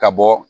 Ka bɔ